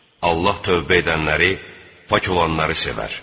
Allah tövbə edənləri, pak olanları sevər.